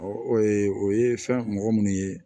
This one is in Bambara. o ye fɛn mɔgɔ minnu ye